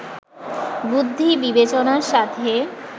বুদ্ধি-বিবেচনার সাথে